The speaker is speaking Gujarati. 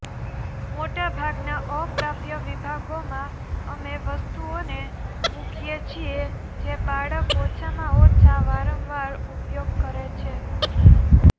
મોટાભાગના અપ્રાપ્ય વિભાગોમાં અમે વસ્તુઓને મૂકીએ છીએ જે બાળક ઓછામાં ઓછા વારંવાર ઉપયોગ કરે છે